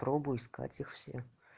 попробуй искать их всех